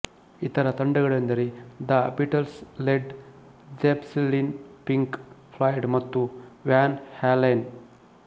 ಇತರ ತಂಡಗಳೆಂದರೆ the Beatles Led Zeppelin Pink Floyd ಮತ್ತು ವ್ಯಾನ್ ಹ್ಯಾಲೆನ್